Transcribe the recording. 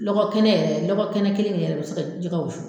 Lɔgɔ kɛnɛ yɛrɛ lɔgɔ kelen in yɛrɛ bɛ se jɛgɛ wusu.